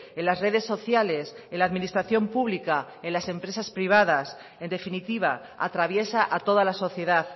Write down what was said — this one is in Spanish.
en las redes sociales en la administración pública en las empresas privadas en definitiva atraviesa a toda la sociedad